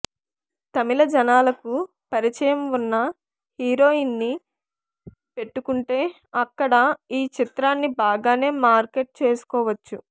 తమిళ జనాలకు పరిచయం ఉన్న హీరోయిన్ని పెట్టుకుంటే అక్కడ ఈ చిత్రాన్ని బాగానే మార్కెట్ చేసుకోవచ్చు